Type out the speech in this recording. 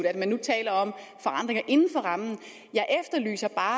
at man nu taler om forandringer inden for rammen jeg efterlyser bare